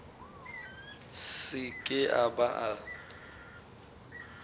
se ke a ba a